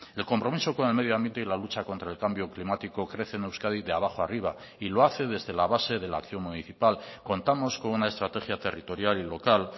el compromiso con el medio ambiente y la lucha contra el cambio climático crece en euskadi de abajo arriba y lo hace desde la base de la acción municipal contamos con una estrategia territorial y local